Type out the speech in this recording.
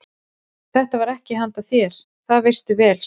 Þetta er ekki handa þér, það veistu vel, sagði hún hlæjandi.